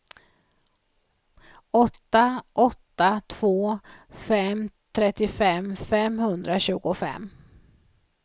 åtta åtta två fem trettiofem femhundratjugofem